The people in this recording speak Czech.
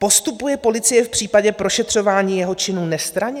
Postupuje policie v případě prošetřování jeho činů nestranně?